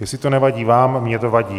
Jestli to nevadí vám, mně to vadí.